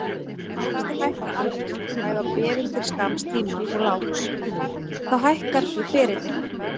Ef vextir hækka almennt, bæði á bréfum til skamms tíma og langs, þá hækkar ferillinn.